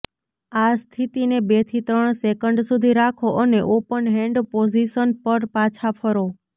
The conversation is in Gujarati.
આ સ્થિતિને બેથી ત્રણ સેકન્ડ સુધી રાખો અને ઓપન હેન્ડ પોઝિશન પર પાછા ફરો